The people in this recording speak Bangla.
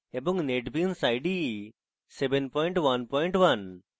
এবং netbeans ide 711